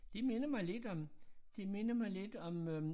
Det minder mig lidt om det minder mig lidt om øh